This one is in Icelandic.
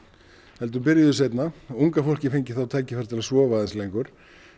heldur byrjuðu seinna og unga fólkið fengi þá tækifæri til að sofa aðeins lengur